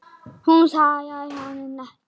Hún svaraði honum ekki.